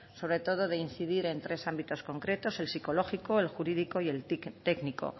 sobre todo de incidir en tres ámbitos concretos el psicológico el jurídico y el tic técnico